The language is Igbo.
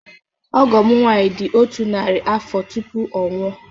Ọgọ m nwaanyị dị otu narị afọ tupu ọ nwụọ.